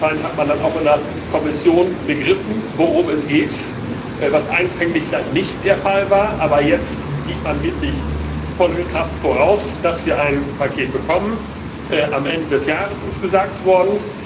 Anscheinend hat man dann auch in der Kommission begriffen, worum es geht, was anfänglich vielleicht nicht der Fall war, aber jetzt gibt man wirklich volle Kraft voraus, damit wir ein Paket bekommen am Ende des Jahres, ist gesagt worden.